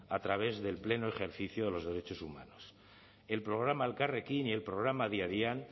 a través del pleno ejercicio de los derechos humanos el programa elkarrekin y el programa adi adian